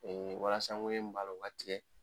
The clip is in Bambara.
walasa ŋɛɲɛn min b'a la o ka tigɛ.